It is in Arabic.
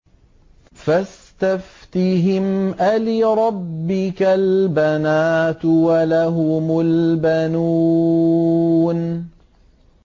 فَاسْتَفْتِهِمْ أَلِرَبِّكَ الْبَنَاتُ وَلَهُمُ الْبَنُونَ